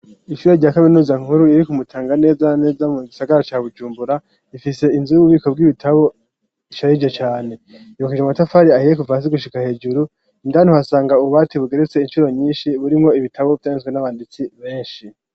Ishure rya kaminuza nkuru iri ku Mutanga neza neza mu gisagara ca Bujumbura. Ifise inzu y'ububiko bw'ibitabo isharije cane. Yubakishijwe amatafari ahiye kuva hasi gushika hejuru, indani uhasanga ububati bugeretse incuro nyinshi, burimwo ibitabo vyanditswe n'abanditsi benshi.